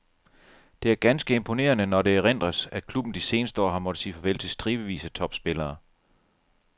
Det er ganske imponerende, når det erindres, at klubben de seneste år har måtte sige farvel til stribevis af topspillere.